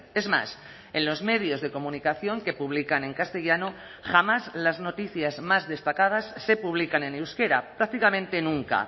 es más en los medios de comunicación que publican en castellano jamás las noticias más destacadas se publican en euskera prácticamente nunca